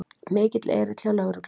Mikill erill hjá lögreglu